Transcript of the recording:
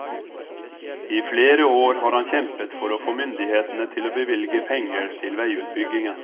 I flere år har han kjempet for å få myndighetene til å bevilge penger til veiutbyggingen.